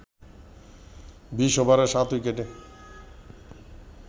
২০ ওভারে ৭ উইকেটে